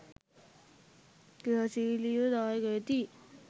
ක්‍රියාශීලිව දායක වෙති